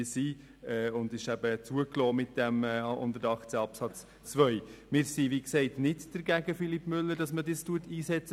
Wir sind, Grossrat Müller Philippe, nicht per se dagegen, dass man solche technischen Mittel einsetzt.